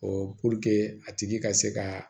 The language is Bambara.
Ɔ puruke a tigi ka se ka